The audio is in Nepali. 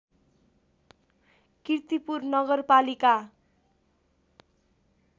कीर्तिपुर नगरपालिका